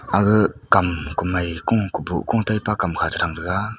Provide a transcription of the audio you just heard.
aguh kam komaiku kubuh ku taipa chethrang taiga.